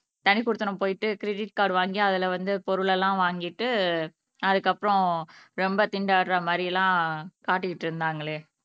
தனிக்குடித்தனம் போயிட்டு credit card வாங்கி அதுல வந்து பொருள் எல்லாம் வாங்கிட்டு அதுக்கப்புறம் ரொம்ப திண்டாடுற மாதிரி எல்லாம் காட்டிட்டு இருந்தாங்களே